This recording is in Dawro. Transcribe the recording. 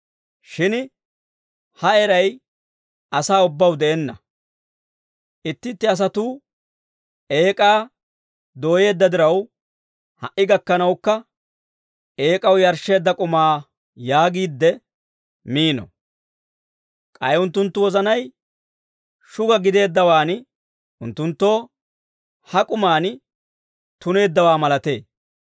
Shin ha eray asaa ubbaw de'enna. Itti itti asatuu eek'aa dooyeedda diraw, ha"i gakkanawukka, «Eek'aw yarshsheedda k'umaa» yaagiidde miino. K'ay unttunttu wozanay shuga gideeddawaan, unttunttoo ha k'umaan tuneeddawaa malatee.